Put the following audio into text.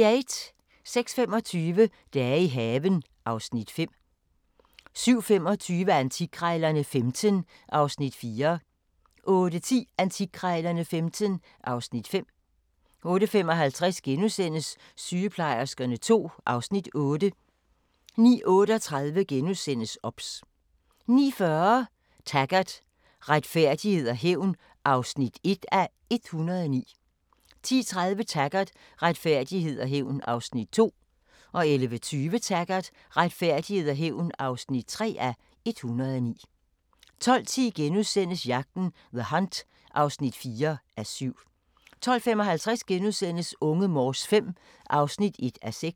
06:25: Dage i haven (Afs. 5) 07:25: Antikkrejlerne XV (Afs. 4) 08:10: Antikkrejlerne XV (Afs. 5) 08:55: Sygeplejerskerne II (Afs. 8)* 09:38: OBS * 09:40: Taggart: Retfærdighed og hævn (1:109) 10:30: Taggart: Retfærdighed og hævn (2:109) 11:20: Taggart: Retfærdighed og hævn (3:109) 12:10: Jagten – The Hunt (4:7)* 12:55: Unge Morse V (1:6)*